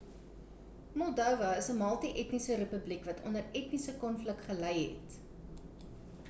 moldova is 'n multi-etniese republiek wat onder etniese konflik gelei het